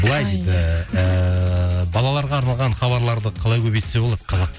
былай дейді балаларға арналған хабарларды қалай көбейтсе болады